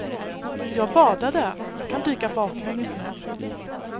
Jag badade, jag kan dyka baklänges nu.